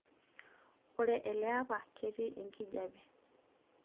ore elaapa ketii enkijiape